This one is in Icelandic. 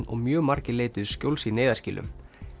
og mjög margir leituðu skjóls í neyðarskýlum